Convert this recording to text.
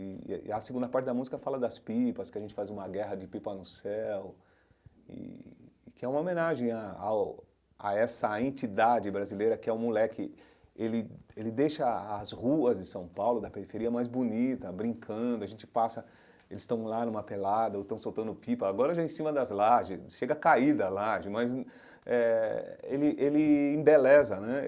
E e a segunda parte da música fala das pipas, que a gente faz uma guerra de pipa no céu, e que é uma homenagem a ao a essa entidade brasileira que é um moleque, ele ele deixa a as ruas de São Paulo, da periferia, mais bonita, brincando, a gente passa, eles estão lá numa pelada, ou estão soltando pipa, agora já em cima das lajes, chega caída a laje, mas eh ele ele embeleza, né?